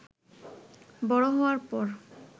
বড় হওয়ার পর